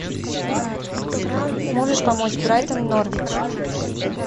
можешь помочь брайтон норвич